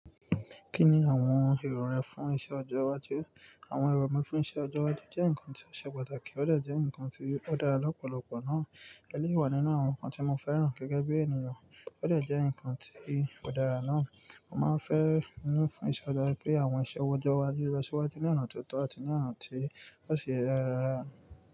Kí ni àwọn èrò rẹ fún iṣẹ ọjọ́ iwájú? Àwọn èrò mi fún iṣẹ ọjọ́ iwájú jẹ́ nǹkan tí ó ṣe pàtàkì ó de jẹ́ ǹkan tí ó dára lọ́pọ̀lọpọ̀ náà. Ẹléyii wà nínú àwọn ǹkan tí mo fẹ́ràn gẹ́gẹ́ bí ènìyàn, ó de jẹ́ ǹkan tí ò dára náà. Mo máa ń fẹ́ nínú fún ìṣe ọjọ́ pé àwọn iṣẹ́ ọjọ́ iwájú ó lọ síwájú ní ọ̀nà tó tọ́ àti ní ọ̀nà tí ó si ṣe rárá.